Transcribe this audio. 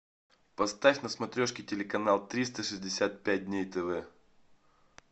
поставь на смотрешке телеканал триста шестьдесят пять дней тв